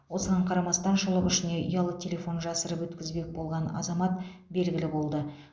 осыған қарамастан шұлық ішіне ұялы телефон жасырып өткізбек болған азамат белгілі болды